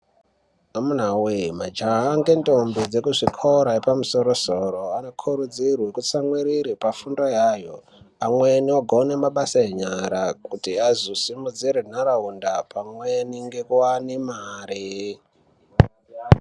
Amunawe majaha ngendombi dzekuchikora yepamusoro soro vanokurudzirwe kutsamwirire pafundo yayo amweni ogone mabasa enyara kuti azosimudzire nharaunda pamweni nekuwane mare.